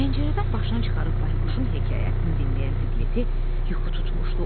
Pəncərədən başını çıxarıb Bayquşun hekayətini dinləyən Piglet-i yuxu tutmuşdu.